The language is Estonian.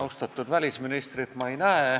Austatud välisministrit ma siin ei näe.